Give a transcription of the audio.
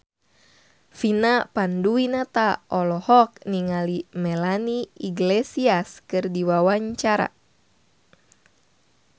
Vina Panduwinata olohok ningali Melanie Iglesias keur diwawancara